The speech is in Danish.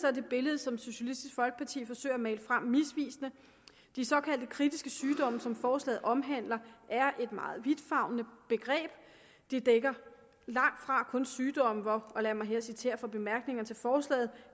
er det billede som socialistisk folkeparti forsøger at male frem misvisende de såkaldte kritiske sygdomme som forslaget omhandler er et meget vidtfavnende begreb det dækker langtfra kun sygdomme hvor og lad mig her citere fra bemærkningerne til forslaget